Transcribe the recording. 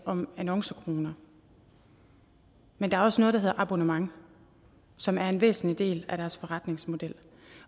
om annoncekroner men der er også noget der hedder abonnement som er en væsentlig del af deres forretningsmodel